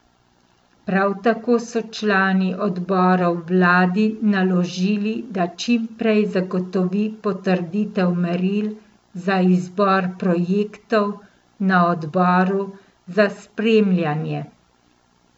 Prav tako so člani odborov vladi naložili, da čim prej zagotovi potrditev meril za izbor projektov na odboru za spremljanje.